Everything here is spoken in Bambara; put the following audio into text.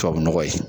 Tubabu nɔgɔ ye